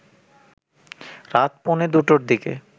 রাত পৌনে দুটোর দিকে